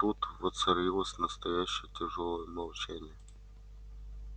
вот тут воцарилось настоящее тяжёлое молчание